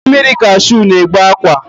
Mmiri kashụ na-egbu akwa